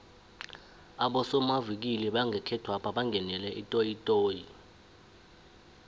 abosomavikili bangekhethwapha bangenele itoyitoyi